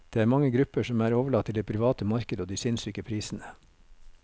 Det er mange grupper som er overlatt til det private marked og de sinnssyke prisene.